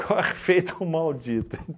Corre feito um maldito.